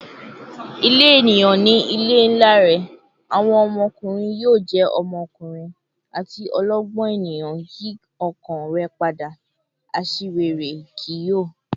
"Ile eniyan ni ile nla rẹ," "Awọn ọmọkunrin yoo jẹ ọmọkunrin," ati "Ọlọgbọn eniyan yi ọkàn rẹ pada; aṣiwere kii yoo."